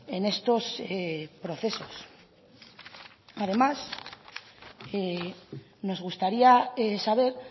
en estos procesos además nos gustaría saber